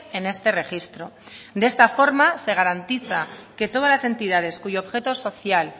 en este registro de esta forma se garantiza que todas las entidades cuyo objeto social